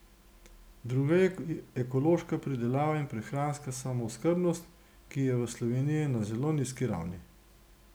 Druga je ekološka pridelava in prehranska samooskrbnost, ki je v Sloveniji na zelo nizki ravni.